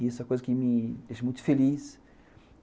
E isso é uma coisa que me deixa muito feliz.